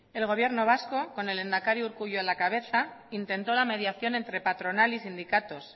el gobierno vasco con el lehendakari urkullu a la cabeza intentó la mediación entre patronal y sindicatos